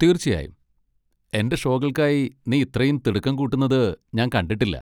തീർച്ചയായും, എന്റെ ഷോകൾക്കായി നീ ഇത്രയും തിടുക്കം കൂട്ടുന്നത് ഞാൻ കണ്ടിട്ടില്ല!